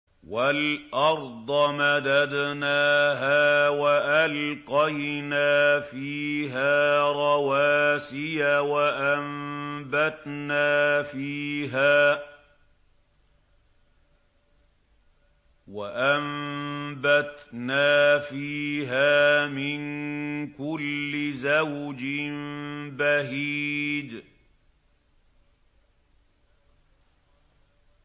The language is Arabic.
وَالْأَرْضَ مَدَدْنَاهَا وَأَلْقَيْنَا فِيهَا رَوَاسِيَ وَأَنبَتْنَا فِيهَا مِن كُلِّ زَوْجٍ بَهِيجٍ